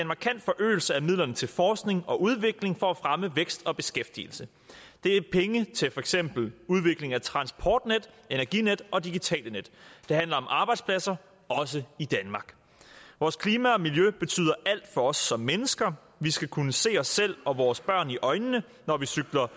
markant forøgelse af midlerne til forskning og udvikling for at fremme vækst og beskæftigelse det er penge til for eksempel udvikling af transportnet energinet og digitale net det handler om arbejdspladser også i danmark vores klima og miljø betyder alt for os som mennesker vi skal kunne se os selv og vores børn i øjnene når vi cykler